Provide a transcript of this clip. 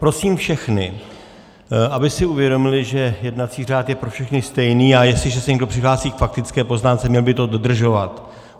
Prosím všechny, aby si uvědomili, že jednací řád je pro všechny stejný, a jestliže se někdo přihlásí k faktické poznámce, měl by to dodržovat.